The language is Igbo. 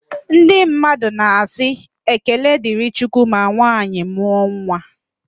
Ndị mmadụ na asị "ekele dịrị chukwu" ma nwanyị mụọ nwa